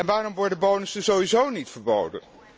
Waarom worden bonussen sowieso niet verboden?